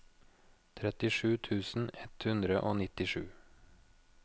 trettisju tusen ett hundre og nittisju